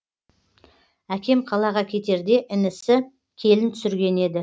әкем қалаға кетерде інісі келін түсірген еді